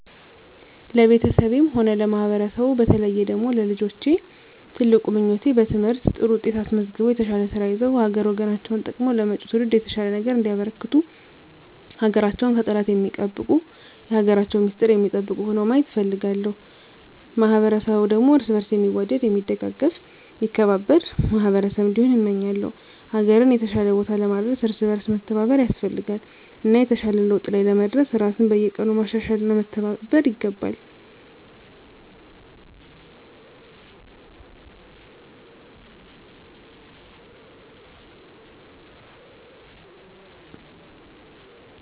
ለቤተሰቤም ሆነ ለማህበረሰቡ በተለየ ደግሞ ለልጆቼ ትልቁ ምኞቴ በትምህርት ጥሩ ውጤት አስመዝግበው የተሻለ ስራ ይዘው ሀገር ወገናቸውን ጠቅመው ለመጭው ትውልድ የተሻለ ነገር እንዲያበረክቱ ሀገራቸውን ከጠላት ሚጠብቁ የሀገራቸውን ሚስጥር ሚጠብቁ ሁነው ማየት እፈልጋለሁ። ማህበረሰቡ ደግሞ እርስ በእርሱ ሚዋደድ ሚደጋገፍ ሚከባበር ማህበረሰብ እንዲሆን እመኛለው። ሀገርን የተሻለ ቦታ ለማድረስ እርስ በእርስ መተባበር ያስፈልጋል እና የተሻለ ለውጥ ላይ ለመድረስ ራስን በየቀኑ ማሻሻል እና መተባበር ይገባል።